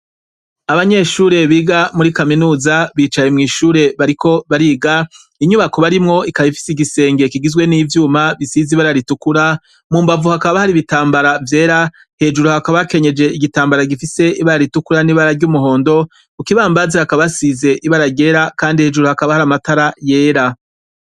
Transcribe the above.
Abanyeshure biga muri kaminuza bicaye mw' ishure bariko bariga, inyubako barimwo ikaba ifise igisenge kigizwe n' ivyuma, gisize ibara ritukura, mu mbavu hari ibitambara vyera, hejuru hakaba hakenyeje igitambara gifise ibara ritukura n' ibara ry' umuhondo, ku kibambazi hakaba hasizwe ibara ryera, kandi hejuru hakaba hari amatara yera.